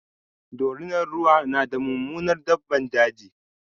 dorinar ruwa na da Mummunar daɓɓan daji.